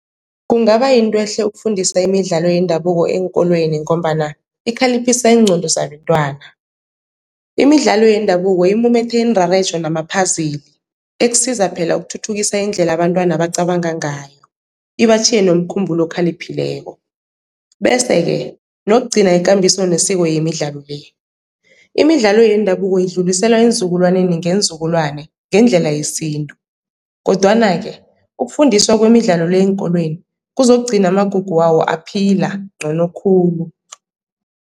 Kungaba yinto ehle ukufundisa imidlalo yendabuko eenkolweni, ngombana ikhaliphisa iingqondo zabentwana. Imidlalo yendabuko imumethe iinrarejo nama-puzzle ekusiza phela ukuthuthukisa indlela abantwana bacabanga ngayo, ibatjhiye nomkhumbulo okhaliphileko, bese-ke nokugcina ikambiso nesiko yemidlalo le. Imidlalo yendabuko idluliselwa eenzukulwaneni ngeenzukulwana ngendlela yesintu kodwana-ke ukufundiswa kwemidlalo le eenkolweni kuzokugcina amagugu wawo aphila ncono khulu.